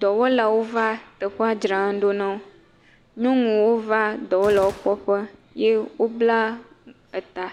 dɔwɔlawo va teƒea dzram ɖo na wo, nyɔnuwo va dɔwɔla kpɔƒe ye wobla ta.